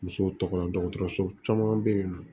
Musow tɔgɔ la dɔgɔtɔrɔso caman bɛ yen nɔ